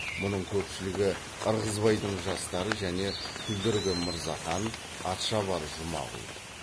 мұның көпшілігі ырғызбайдың жастары және күлдіргі мырзахан атшабар жұмағұл